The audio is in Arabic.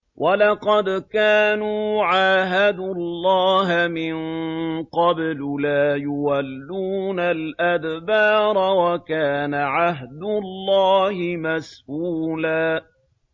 وَلَقَدْ كَانُوا عَاهَدُوا اللَّهَ مِن قَبْلُ لَا يُوَلُّونَ الْأَدْبَارَ ۚ وَكَانَ عَهْدُ اللَّهِ مَسْئُولًا